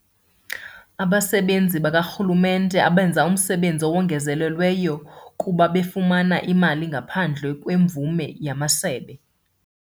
Abasebenzi bakarhulumente abenza umsebenzi owongezelelweyo kuba befumana imali ngaphandle kwemvume yamasebe.